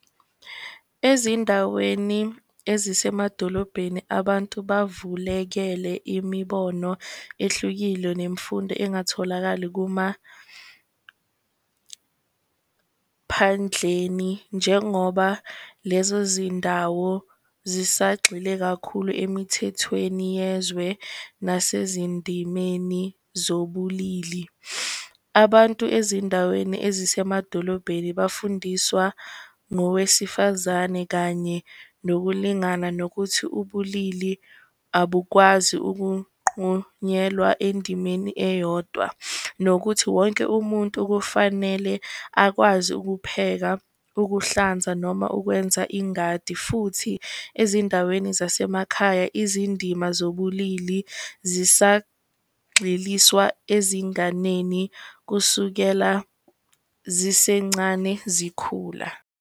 Ezindaweni ezisemadolobhedeni abantu bavulekele imibono ehlukile nemfundo engatholakali kumaphandleni, njengoba lezo zindawo zisagxile kakhulu emithethweni yezwe nase izindimeni zobulili. Abantu ezindaweni ezisemadolobhedeni bafundiswa ngowesifazane kanye nokulingana nokuthi ubulili abukwazi ukunqunyelwa endimeni eyodwa, nokuthi wonke umuntu kufanele akwazi ukupheka, ukuhlanza noma ukwenza ingadi. Futhi ezindaweni zasemakhaya izindima zobulili zisagxiliswa ezinganeni kusukela zisencane zikhula.